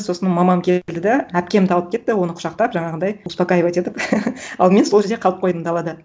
сосын мамам келді де әпкемді алып кетті оны құшақтап жаңағындай успокаивать етіп ал мен сол жерде қалып қойдым далада